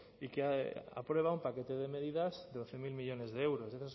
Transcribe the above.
y que aprueba un paquete de medidas de doce mil millónes de euros de